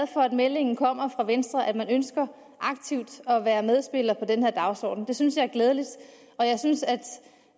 for at meldingen kommer fra venstre om at man ønsker aktivt at være medspiller på den her dagsordenen det synes jeg er glædeligt og jeg synes at